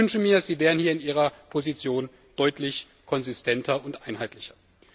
Ich wünsche mir, Sie wären hier in Ihrer Position deutlich konsistenter und einheitlicher!